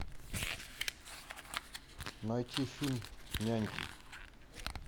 найти фильм няньки